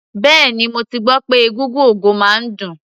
Bẹ́ẹ̀ni, mo ti gbọ́ pé egúngún ogo máa ń dùn.